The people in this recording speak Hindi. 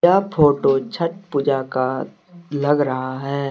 यह फोटो छठ पूजा का लग रहा है।